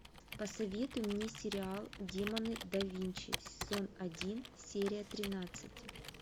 посоветуй мне сериал демоны да винчи сезон один серия тринадцать